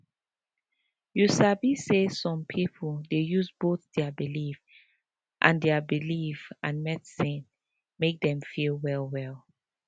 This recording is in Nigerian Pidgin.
you sabi say some people dey use both their belief and their belief and medicine make dem feel well well